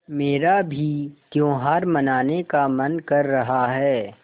मेरा भी त्यौहार मनाने का मन कर रहा है